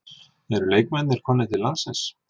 Eru leikmennirnir komnir til landsins?